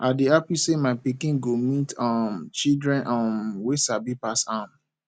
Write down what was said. i dey happy say my pikin go meet um children um wey sabi pass am